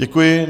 Děkuji.